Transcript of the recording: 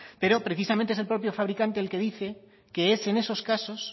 pero precisamente es el propio fabricante el que dice que es en esos casos